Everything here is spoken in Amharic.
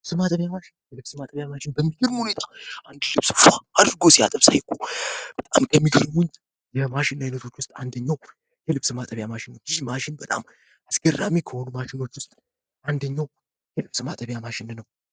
የልብስ ማጠቢያ ማሽን በሚግርም ሁኔታ አንድ ልብስ ፏ አድርጎ ሲያጥብ ሳይ በጣም ከሚግርሙኝ የማሽን ዓይነቶች ውስጥ 1ኛው የልብስ ማጠቢያ ማሽን ይህ ማሽን በጣም አስገራሚ ከሆኑ ማሽኖች ውስጥ አንደኛው የልብስ ማጠቢያ ማሽን ነው።